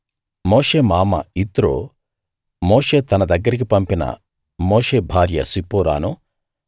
మోషే మామ యిత్రో మోషే తన దగ్గరికి పంపిన మోషే భార్య సిప్పోరాను